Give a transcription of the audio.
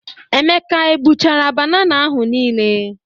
Emeka e buchara banana ahụ nile?